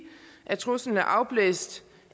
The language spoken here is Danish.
at truslen er afblæst